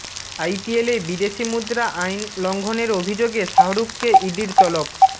আইপিএলে বিদেশি মুদ্রা আইন লঙ্ঘনের অভিযোগে শাহরুখকে ইডির তলব